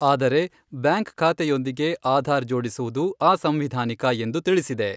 ಆದರೆ, ಬ್ಯಾಂಕ್ ಖಾತೆಯೊಂದಿಗೆ ಆಧಾರ್ ಜೋಡಿಸುವುದು ಅಸಂವಿಧಾನಿಕ ಎಂದು ತಿಳಿಸಿದೆ.